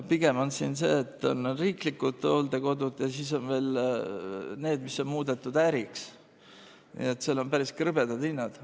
Pigem on siin see, et on riiklikud hooldekodud ja siis on veel need, mis on muudetud äriks, nii et seal on päris krõbedad hinnad.